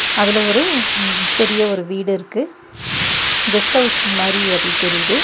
அதுல ஒரு ம் பெரிய ஒரு வீடு இருக்கு. கெஸ்டவுஸ் மாறி அது தெரியுது.